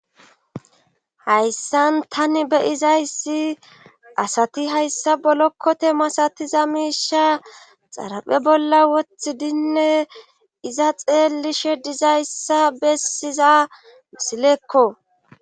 Hayssan tani be izayssi asati hayssa bolokkote masatiza miisha xaraphe bolla wothidinne iza xeelishe dizayssa bessiza misilekko